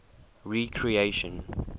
recreation